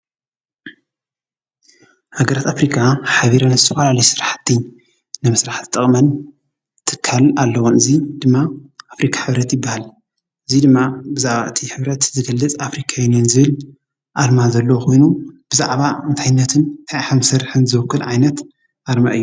ሃገራት ኣፍሪካ ሓቢረን ዝተፋላለዩ ስራሕቲ ንምስራሕ ዝጠቕመን ትካል ኣለወን:: እዚ ትካል ድማ ኣፍሪካ ሕብረት ይብሃል:: እዚ ድማ ብዛዕባ እቲ ሕብረት ዝገልፅ ኣፍሪካ ዩኔን ዝብል ኣርማ ዘለዎ ኾይኑ ብዛዕባ እንታይነትን እንታይ ከምዝሰርሕን ዝዉክል ዓይነት ኣርማ እዩ::